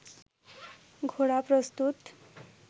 ঘোড়া প্রস্তুত